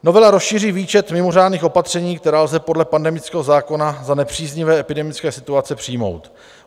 Novela rozšíří výčet mimořádných opatření, která lze podle pandemického zákona za nepříznivé epidemické situace přijmout.